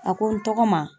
A ko n tɔgɔ ma